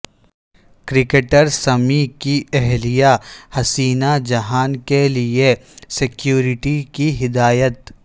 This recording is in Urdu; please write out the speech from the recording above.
کرکٹر سمیع کی اہلیہ حسین جہاں کیلئے سیکورٹی کی ہدایت